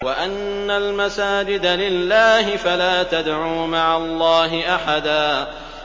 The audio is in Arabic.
وَأَنَّ الْمَسَاجِدَ لِلَّهِ فَلَا تَدْعُوا مَعَ اللَّهِ أَحَدًا